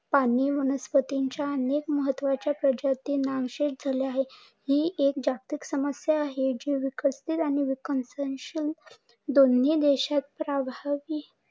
पाणी वनस्पती च्या अनेक प्रजाती नामशेष झाल्या आहे. ही एक जागतिक समस्या आहे जी विकसित आणि विकसनशील दोन्ही देशात प्रभावी